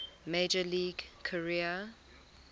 major league career